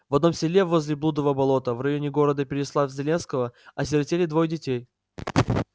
в одном селе возле блудова болота в районе города переславль-залесского осиротели двое детей